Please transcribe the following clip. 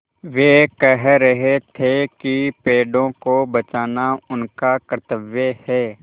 वे कह रहे थे कि पेड़ों को बचाना उनका कर्त्तव्य है